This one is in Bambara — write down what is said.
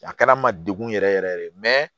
A kɛra n ma degun yɛrɛ yɛrɛ ye dɛ